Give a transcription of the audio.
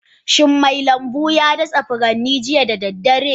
Shin mai lambu ya datse furannin jiya da daddare?